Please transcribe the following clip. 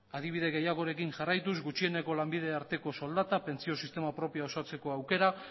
adibide gehiagorekin jarraituz gutxiengoko lanbide arteko soldata pentsio sistema propioa osatzeko aukera